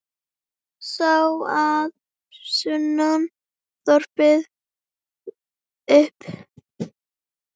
Sá að sunnan þvoði upp.